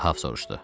Ahəb soruşdu.